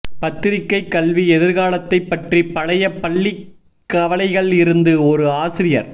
பத்திரிகை கல்வி எதிர்காலத்தை பற்றி பழைய பள்ளி கவலைகள் இருந்து ஒரு ஆசிரியர்